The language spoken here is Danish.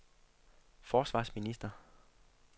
forsvarsminister